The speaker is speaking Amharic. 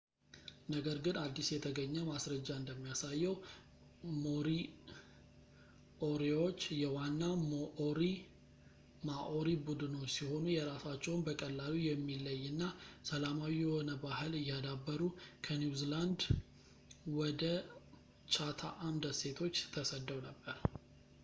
ነገር ግን አዲስ የተገኘ ማስረጃ እንደሚያሳየው ሞሪኦሪዎች የዋና ማኦሪ ቡድኖች ሲሆኑ የራሳቸውን በቀላሉ የሚለይ እና ሰላማዊ የሆነ ባህል እያዳበሩ ከኒውዚላንድ ውደ ቻታኣም ደሴቶች ተሰደው ነበር